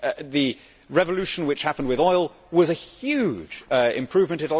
The revolution which happened with oil was a huge improvement.